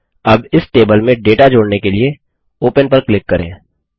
अब इस टेबल में डेटा जोड़ने के लिए ओपन पर क्लिक करें